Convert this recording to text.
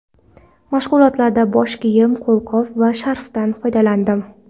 Mashg‘ulotlarda bosh kiyim, qo‘lqop va sharfdan foydalandim.